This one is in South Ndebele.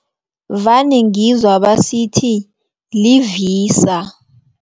Vane ngizwa basithi, li-VISA.